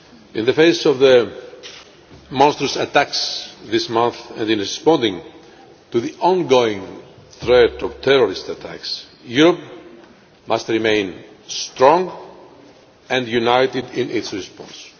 In the face of the monstrous attacks this month, and in responding to the ongoing threat of terrorist attacks, Europe must remain strong and united in its response.